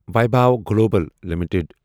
Vaibhav global limited